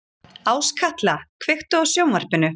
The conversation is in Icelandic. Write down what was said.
Áskatla, kveiktu á sjónvarpinu.